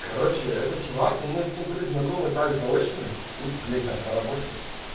короче этот чувак но мы с ним были знакомы так заочно ну блять там по работе